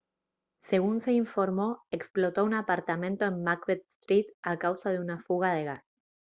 según se informó explotó un apartamento en macbeth street a causa de una fuga de gas